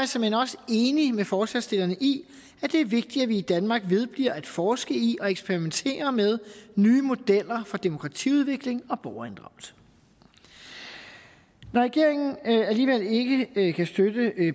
såmænd også enig med forslagsstillerne i at det er vigtigt at vi i danmark vedbliver at forske i og eksperimentere med nye modeller for demokratiudvikling og borgerinddragelse når regeringen alligevel ikke kan støtte